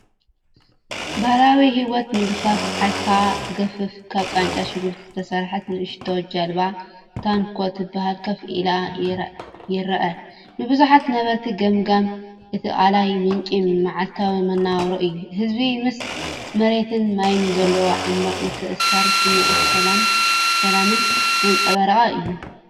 ባህላዊ ህይወት ምግፋፍ ዓሳ ዝገፍፍ፣ ካብ ቃንጫ ሽጉርቲ ዝተሰርሐት ንእሽቶ ጃልባ ("ታንኳ" ትበሃል) ኮፍ ኢሉ ይረአ። ንብዙሓት ነበርቲ ገማግም እቲ ቀላይ ምንጪ መዓልታዊ መነባብሮ እዩ። ህዝቢ ምስ መሬትን ማይን ዘለዎ ዓሚቕ ምትእስሳርን ስምዒት ሰላምን ዘንጸባርቕ እዩ።